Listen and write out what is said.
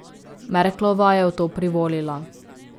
Merklova je v to privolila.